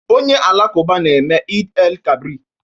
Ndị Alakụba na-eme Eid-el-kabri